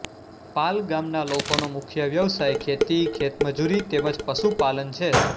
પાલ ગામના લોકોનો મુખ્ય વ્યવસાય ખેતી ખેતમજૂરી તેમ જ પશુપાલન છે